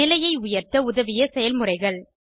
நிலையை உயர்த்த உதவிய செயல்முறைகள்